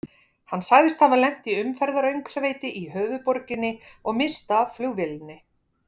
Hann sagðist hafa lent í umferðaröngþveiti í höfuðborginni og misst af flugvélinni.